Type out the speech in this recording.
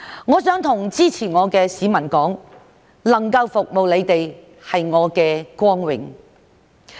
我想向支持我的市民說，能夠服務你們是我的光榮。